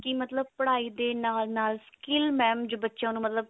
ਕੀ ਮਤਲਬ ਪੜ੍ਹਾਈ ਦੇ ਨਾਲ ਨਾਲ skill mam ਜੇ ਬੱਚਿਆਂ ਨੂੰ ਮਤਲਬ